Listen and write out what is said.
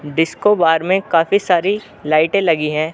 Disco bar में काफी सारी लाइटे लगी है।